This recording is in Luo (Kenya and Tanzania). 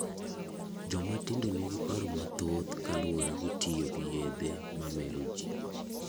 Joma tindo nigi paro mathoth kaluwore gi tiyo gi yedhe mamero ji.